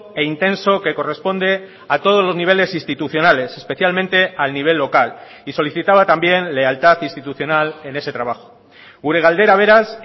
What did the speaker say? e intenso que corresponde a todos los niveles institucionales especialmente al nivel local y solicitaba también lealtad institucional en ese trabajo gure galdera beraz